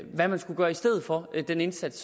hvad man skulle gøre i stedet for den indsats